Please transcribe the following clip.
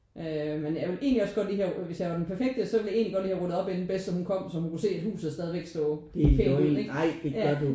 Øh men jeg ville egentlig også godt lige have hvis jeg var den perfekte så ville jeg egentlig godt lige have ryddet op inden bedste hun kom så hun kunne se at huset stod jævnligt ja